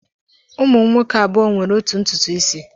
Ụmụ m nwoke abụọ nwere otu ntutu isi.